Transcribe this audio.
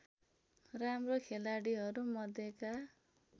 राम्रो खेलाडिहरू मध्येका